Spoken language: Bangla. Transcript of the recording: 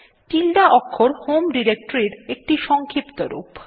tilde অক্ষর হোম ডিরেক্টরীর একটি সংক্ষিপ্ত রূপ